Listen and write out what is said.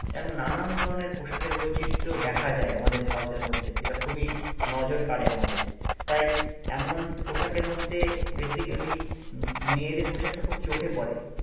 এরকম নানান ধরনের পোশাকের বৈচিত্র্য দেখা যায় আমাদের ভারতের মধ্যে যেটা খুবই নজর কারে আমাদের, তাই এমন পোশাকের মধ্যে Basically উম মেয়েদের পোশাকটা খুব চোখে পড়ে